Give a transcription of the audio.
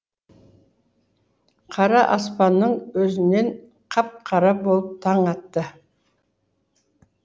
қара аспанның өзінен қап қара болып таң атты